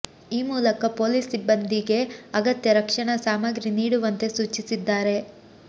ಈ ಮೂಲಕ ಪೊಲೀಸ್ ಸಿಬ್ಬಂದಿಗೆ ಅಗತ್ಯ ರಕ್ಷಣಾ ಸಾಮಗ್ರಿ ನೀಡುವಂತೆ ಸೂಚಿಸಿದ್ದಾರೆ